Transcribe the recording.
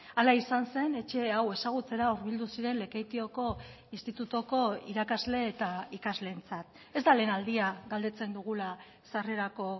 hala izan zen etxe hau ezagutzera hurbildu ziren lekeitioko institutuko irakasle eta ikasleentzat ez da lehen aldia galdetzen dugula sarrerako